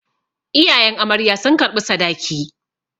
Iyayen amarya sun karɓi sadaki.